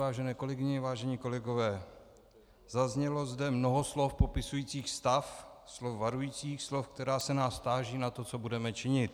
Vážené kolegyně, vážení kolegové, zaznělo zde mnoho slov popisujících stav, slov varujících, slov, která se nás táží na to, co budeme činit.